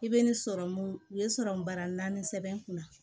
I bɛ ni sɔrɔmu u ye sɔrɔmu bara naani sɛbɛn n kunna